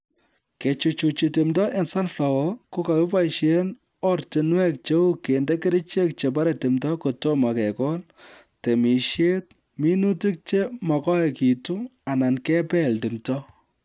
Kechuchuchi timdo eng sunflower kokokiboisie ortinwek cheu kende kerichek che barei timdo kotomo kekol, temishet, minutik che makoikitu anan kebel timdo